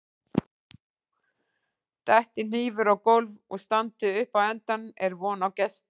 Detti hnífur á gólf og standi upp á endann er von á gesti.